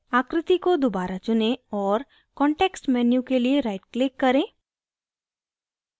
आकृति को दोबारा चुनें और context menu के लिए right click करें